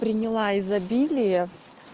приняла изобилие